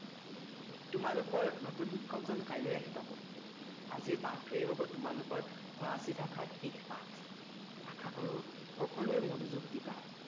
তোমালোকৰ নতু শিক্ষকজন কাইলৈ আহি পাব আজিৰ পাঠটোৱে হব তোমালোকৰ ফৰাচী ভাষাৰ শেষ পাঠ আশাকৰোঁ সকলোৱে মনোযোগ দিবা